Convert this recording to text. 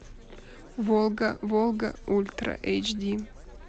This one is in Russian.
волга волга ультра эйч ди